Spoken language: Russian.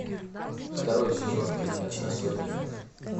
второй сезон фильмец особенный